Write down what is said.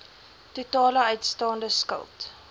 totale uitstaande skuld